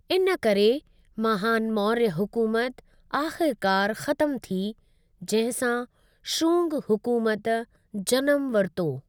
इनकरे, महान मौर्य हुकूमत आख़िरकारि ख़त्मु थी, जंहिं सां शुंग हुकूमत जनमु वरितो।